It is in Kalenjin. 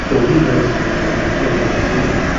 Kogigochin Kansela Merkel temisiet.